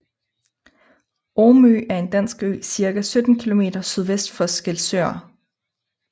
Omø er en dansk ø cirka 17 kilometer sydvest for Skælskør